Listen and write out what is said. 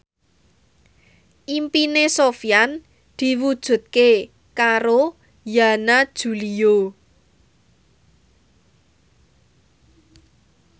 impine Sofyan diwujudke karo Yana Julio